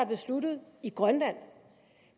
besluttet i grønland